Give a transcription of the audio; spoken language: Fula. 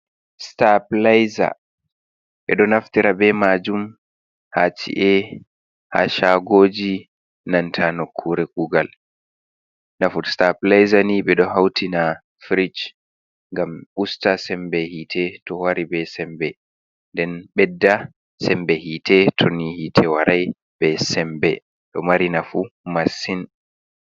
Sitaplaiza ɓe ɗo naftira be majuum ha ci’e, ha shagoji, nanta nokkure kugal. Nafu sitapilaiza ni ɓe ɗo hautina firish gam usta sembe hiitee to wari be sembe, den bedda sembe hiitee toni hiite e warai be sembe, ɗo mari massing.